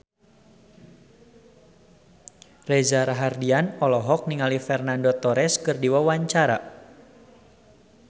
Reza Rahardian olohok ningali Fernando Torres keur diwawancara